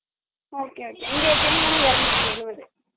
இங்க தேங்கா என்னை இரணுத்தி எழுபது